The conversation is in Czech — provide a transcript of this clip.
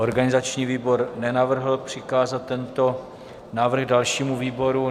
Organizační výbor nenavrhl přikázat tento návrh dalšímu výboru.